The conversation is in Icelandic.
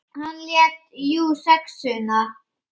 Hann lét jú SEXUNA.